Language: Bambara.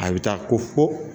A bɛ taa ko fo